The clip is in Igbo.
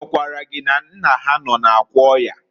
A gwakwara gị na nna ha nọ n'akwa ọya?